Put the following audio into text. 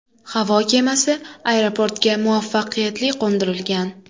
Havo kemasi aeroportga muvaffaqiyatli qo‘ndirilgan.